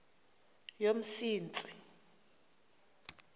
yomsintsi